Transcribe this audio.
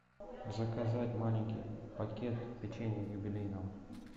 заказать маленький пакет печенья юбилейного